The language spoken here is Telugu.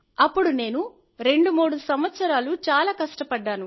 అప్పుడు నేను 23 సంవత్సరాలు చాలా కష్టపడ్డాను